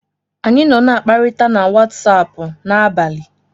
Anyị nọ n'akparita na Watsaapụ n'abalị.